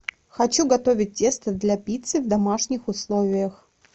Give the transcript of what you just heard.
хочу готовить тесто для пиццы в домашних условиях